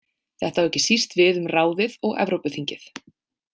Þetta á ekki síst við um ráðið og Evrópuþingið.